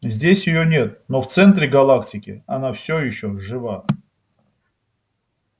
здесь её нет но в центре галактики она все ещё жива